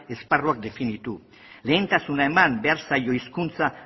esparruak definitu lehentasuna eman behar zaio hizkuntza